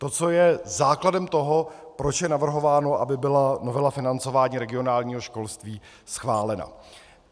To, co je základem toho, proč je navrhováno, aby byla novela financování regionálního školství schválena.